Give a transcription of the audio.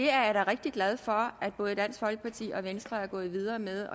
er rigtig glad for at både dansk folkeparti og venstre er gået videre med